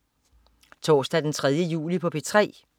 Torsdag den 3. juli - P3: